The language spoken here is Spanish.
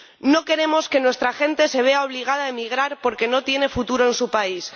No queremos que nuestra gente se vea obligada a emigrar porque no tiene futuro en su país.